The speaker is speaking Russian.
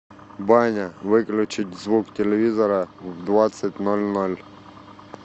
баня выключить звук телевизора в двадцать ноль ноль